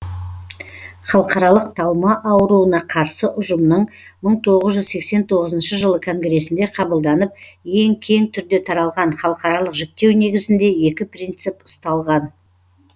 халықаралық талма ауруына қарсы ұжымның мың тоғыз жүз сексен тоғызыншы жылы конгресінде қабылданып ең кең түрде таралған халықаралық жіктеу негізінде екі принцип ұсталған